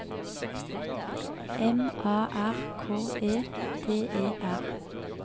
M A R K E D E R